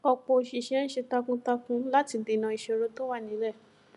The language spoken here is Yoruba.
ọpọ oṣìṣẹ ń ṣiṣẹ takuntakun láti dènà ìṣòro tó wà nílé